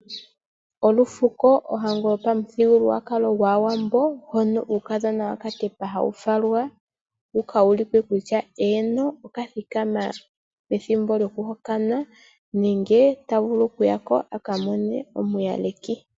Olufuko, ohango yopamuthigululwakalo gwaawambo hono uukadhona wakatyepa hawu falwa opo ku ulike kutya eeno okathikama pethimbo lyokuhokanwa nenge tawu vulu oku yako a ka mone omuyaleki.